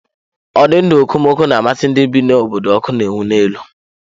Ụdị ndụ okomoko na-amasị ndị bi n'obodo ọkụ na-enwu n'elu.